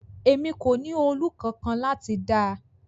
Emi ko ni òòlù kankan lati da